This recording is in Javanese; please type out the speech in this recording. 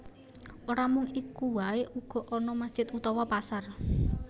Ora mung iku waé uga ana masjid utawa pasar